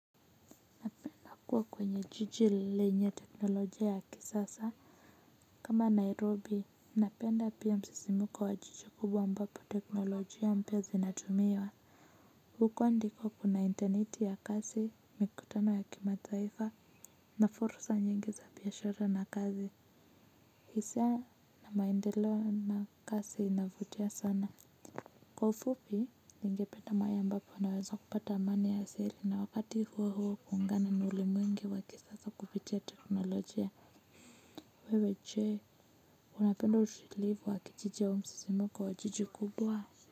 Kuwa kwenye jiji lenye teknolojia ya kisasa kama nairobi napenda pia msisimko wa jiji kubwa ambapo teknolojia mpya zinatumiwa huko ndiko kuna interneti ya kasi mikutano ya kimataifa na fursa nyingi za biashara na kazi hisa na maendeleo na kasi inavutia sana kwa ufupi ningependa mahali ambapo naweza kupata amani ya siri na wakati huo huo kuungana ulimwengi wa kisasa kipitia teknolojia wewe je unapenda ushilivu wa kijiji au msisimko wa jiji kubwa.